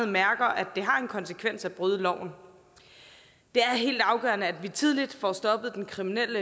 mærker at det har en konsekvens at bryde loven det er helt afgørende at vi tidligt får stoppet den kriminelle